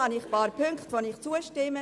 Deshalb stimme ich einigen Punkten zu.